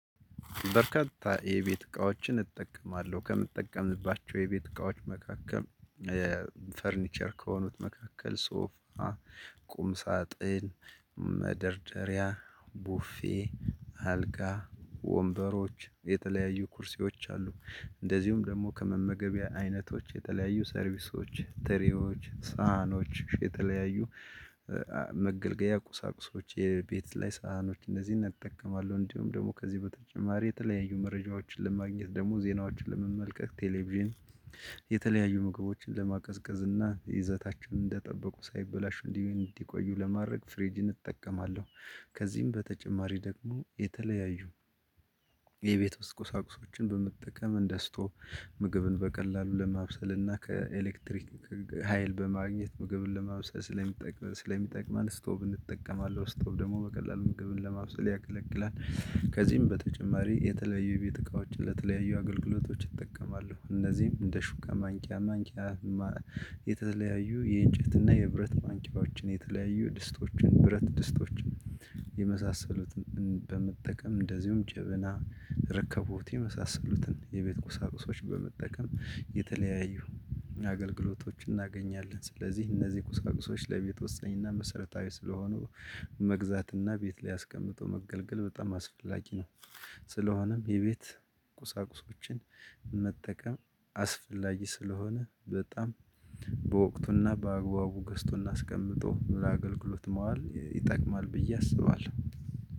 በርካታ የቤት እቃዎችን እጠቀማለሁ። ከምጠቀምባቸው የቤት እቃዎች መካከል ፈርኒቸር ከሆኑት መካከል ሶፋ ቁም ሳጥን፣ መደርደሪያ፣ ቡፌ አልጋ፣ ወንበሮች የተለያዩ ኩርሴዎች አሉ። እንደዚሁም ደግሞ ከመመገቢያ አይነቶች የተለያዩ ሰርቪሶች፣ ትሪዎች፣ ሳህኖች የተለያዩ መገልገያ ቁሳቁሶች የቤት ላይ ሳህኖች እንዚህን እጠቀማለሁ። እንዲሁም ደግሞ ከዚህ በተጨማሪ የተለያዩ መረጃዎችን ለማግኘት ደግሞ ዜናዎችን ለመመልከት ቴሌቭዥን የተለያዩ ምግቦችን ለማቀዝቀዝ እና ይዘታቸውን እንደጠበቁ ሳይበላሹ እንዲ እንዲቆዩ ለማድረግ ፍሬጅን እጠቀማለሁ። ከዚህም በተጨማሪ ደግሞ የተለያዩ የቤት ውስጥ ቁሳቁሶችን በመጠቀም እንደ ስቶቭ ምግብን በቀላሉ ለማብሰል እና ከኤሌክትሪክ ሀይል በማግኘት ምግብን ለማብሰል ስለሚጠቅም ስለሚጠቅመን ስቶቭ እንጠቀማለሁ ስቶቭ ደግሞ በቀላሉ ምግብን ለማብሰል ያገለግላል። ከዚህም በተጨማሪ የተለያዩ የቤት እቃዎች ለተለያዩ አገልግሎቶች እጠቀማለው። እነዚህም እንደ ሹካ፣ ማንኪያ ማንቂያ ማ የተለያዩ የእንጨትና የብረት ማንቂያዎችን የተለያዩ ድስቶችን፣ ብረት ድስቶችን የመሳሰሉትን በመጠቀም እንደዚሁም ጀበና፣ ረከቦት የመሳሰሉትን የቤት ቁሳቁሶች በመጠቀም የተለያዩ አገልግሎቶችን እናገኛለን። ስለዚህ እነዚህ ቁሳቁሶች ለቤት ወስነኝና መሰረታዊ ስለሆኑ መግዛትና ቤት ላይ አስቀምጦ መገልገል በጣም አስፈላጊ ነው። ስለሆነም የቤት ቁሳቁሶችን መጠቀም አስፈላጊ ስለሆነ በጣም በወቅቱና በአግባቡ ገዝቶና አስቀምጦ በአገልግሎት መዋል ይጠቅማል ብዬ አስባለሁ።